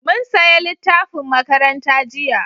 Mun saya littafin makaranta jiya